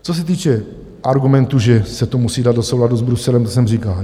Co se týče argumentu, že se to musí dát do souladu s Bruselem, to jsem říkal.